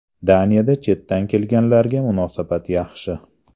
Daniyada chetdan kelganlarga munosabat yaxshi.